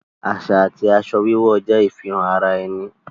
Aṣa ti aṣọ wíwọ̀ jẹ ifihàn ara ènì